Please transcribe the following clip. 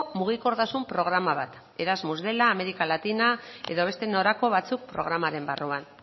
mugikortasun programa bat erasmus dela amerika latina edo beste norako batzuk programaren barruan